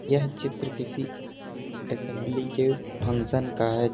यह चित्र किसी स्कूल असेंबली के फंक्शन का है।